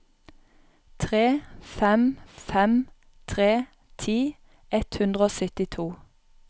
tre fem fem tre ti ett hundre og syttito